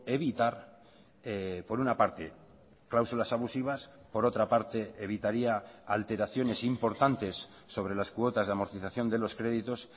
evitar por una parte cláusulas abusivas por otra parte evitaría alteraciones importantes sobre las cuotas de amortización de los créditos